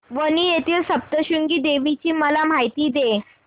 वणी येथील सप्तशृंगी देवी ची मला माहिती दे